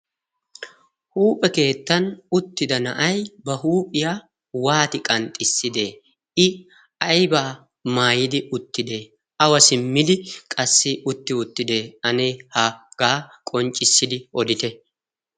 huuphe keettan uttida na'ay ba huuphiyaa waati qanxxisside i aybaa maayidi uttide awa simmidi qassi utti uttidee ane hagaa qonccissidi odite